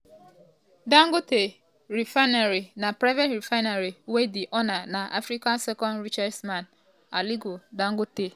dangote refinery na private refinery wey di owner na africa second richest man aliko dangote.